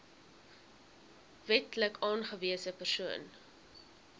wetlik aangewese persoon